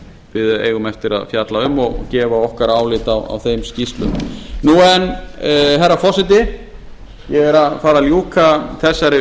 við eigum eftir að fjalla um og gefa okkar álit á þeim skýrslum nú en herra forseti ég er að fara að ljúka þessari umfjöllun